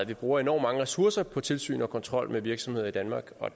vi bruger enormt mange ressourcer på tilsyn og kontrol med virksomheder i danmark og